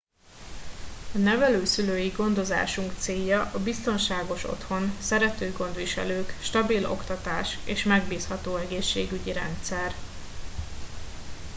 a nevelőszülői gondozásunk célja a biztonságos otthon szerető gondviselők stabil oktatás és megbízható egészségügyi rendszer